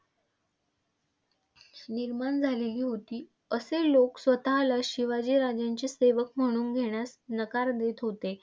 निर्माण झालेली होती, असे लोक स्वतःला शिवाजी राजांचे सेवक म्हणवून घेण्यास नकार देत होते.